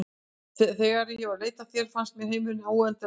Þegar ég var að leita að þér fannst mér heimurinn óendanlega stór.